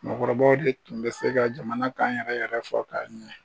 Mɔgɔkɔrɔbaw de tun bɛ se ka jamana kan yɛrɛ yɛrɛ fɔ k'a ɲɛ.